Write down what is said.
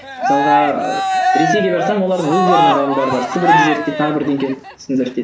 мысалға ресейге барсаң олар өздерінің ғалымдары бар сібірді зерттейді тағы зерттейді